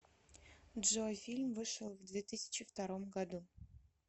джой фильм вышел в две тысячи втором году